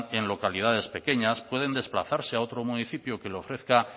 en localidades pequeñas pueden desplazarse a otro municipio que les ofrezca